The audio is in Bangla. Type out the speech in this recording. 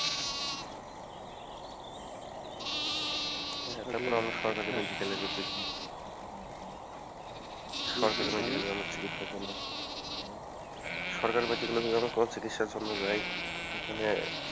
সরকারি medical এ যখন কোনো চিকিৎসার জন্য যাই সেখানে,